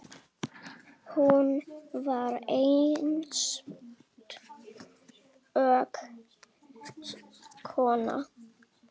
Hún var einstök kona.